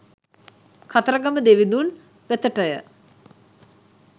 කතරගම දෙවිඳුන් වෙතටය.